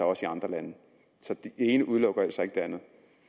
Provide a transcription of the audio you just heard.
også i andre lande så det ene udelukker altså ikke det andet